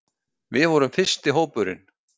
Við vorum fyrsti hópurinn